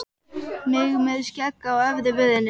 Mig með skegg á efri vörinni.